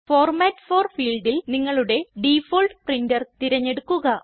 format for ഫീൽഡിൽ നിങ്ങളുടെ default printer തിരഞ്ഞെടുക്കുക